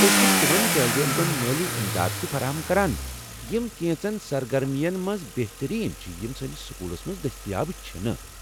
أسۍ چھ تمن طٲلب علمن مٲلی امداد تہِ فراہم کران یم کینژن سرگرمین منٛز بہتٔریٖن چھِ یم سٲنس سکولس منٛز دٔستیاب چھنہٕ۔